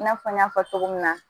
I n'a fɔ n y'a fɔ cogo min na